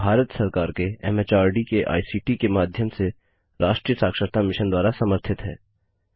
यह भारत सरकार के एमएचआरडी के आईसीटी के माध्यम से राष्ट्रीय साक्षरता मिशन द्वारा समर्थित है